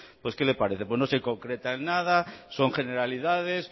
pues qué le parece pues no se concreta en nada son generalidades